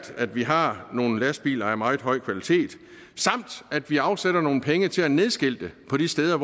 at vi har nogle lastbiler af meget høj kvalitet samt at vi afsætter nogle penge til at nedskilte på de steder